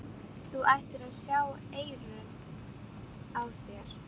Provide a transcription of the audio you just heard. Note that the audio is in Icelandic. Þú ættir að sjá eyrun á þér!